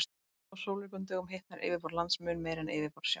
Á sólríkum dögum hitnar yfirborð lands mun meira en yfirborð sjávar.